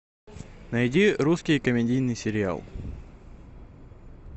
найди русский комедийный сериал